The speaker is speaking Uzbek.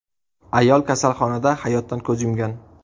Ayol kasalxonada hayotdan ko‘z yumgan.